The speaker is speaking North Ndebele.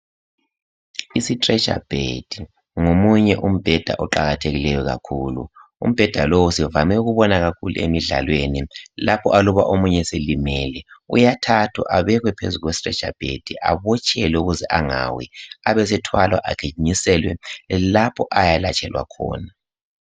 Isithretcherbed ngomunye umbheda oqakathekileyo kakhulu. Umbheda lowu sivame ukubona kakhulu emidlalweni, lapho aluba omunye eselimele uyathathwa abekwe phezu kwesi threcherbed abotshelwe ukuze angawi. Abesethwala agijinyiselwe lapho ayalatshelwa khona.